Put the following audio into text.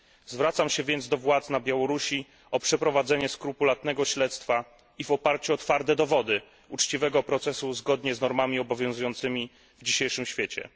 Zwracam się więc do władz Białorusi o przeprowadzenie skrupulatnego śledztwa i w oparciu o twarde dowody uczciwego procesu zgodnie z normami obowiązującymi w dzisiejszym świecie.